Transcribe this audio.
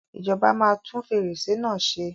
Ìjọba máa tún fèrèsé náà ṣe.